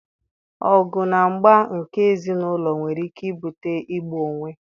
Ọgụ na mgba nke ézì n'ụlọ nwere ike ibute igbu onwe